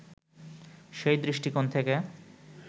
সেই দৃষ্টিকোণ থেকে